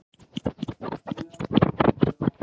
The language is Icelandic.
Einn maður enn í haldi